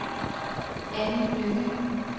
Anni Lynge